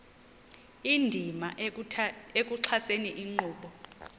indima ekuxhaseni inkqubo